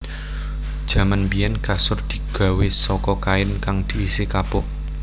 Jaman biyèn kasur digawé saka kain kang diisi kapuk